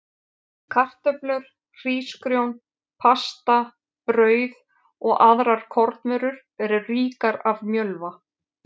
Kartöflur, hrísgrjón, pasta, brauð og aðrar kornvörur eru ríkar af mjölva.